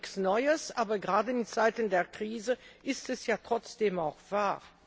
Das ist nichts Neues, aber gerade in Zeiten der Krise ist es ja trotzdem auch wahr.